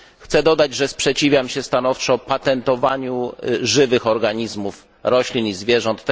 Chcę dodać, że sprzeciwiam się stanowczo patentowaniu żywych organizmów roślin i zwierząt.